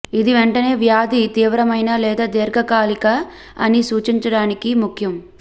ఇది వెంటనే వ్యాధి తీవ్రమైన లేదా దీర్ఘకాలిక అని సూచించడానికి ముఖ్యం